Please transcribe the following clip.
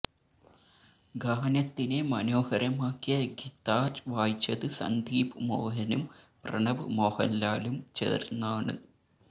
ഗാനത്തിനെ മനോഹരമാക്കിയ ഗിത്താര് വായിച്ചത് സന്ദീപ് മോഹനും പ്രണവ് മോഹന്ലാലും ചേര്ന്നാണ്